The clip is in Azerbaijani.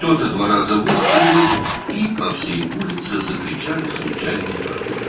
Kimsə iki dəfə atəş açdı və bütün küçə boyu təsadüfi yoldan keçənlər qışqırdılar.